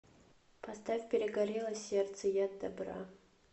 поставь перегорело сердце яд добра